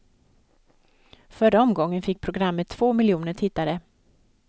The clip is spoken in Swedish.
Förra omgången fick programmet två miljoner tittare.